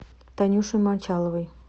танюшей мочаловой